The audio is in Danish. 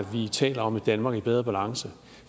vi taler om et danmark i bedre balance